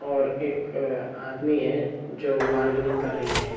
और एक आदमी है जो बारगेनिंग कर रही है।